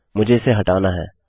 मुझे इसे हटाना है